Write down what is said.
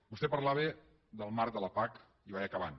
vostè parlava del marc de la pac i vaig acabant